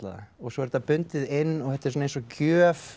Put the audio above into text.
svo er þetta bundið inn og þetta er eins og gjöf